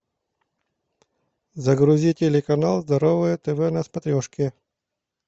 загрузи телеканал здоровое тв на смотрешке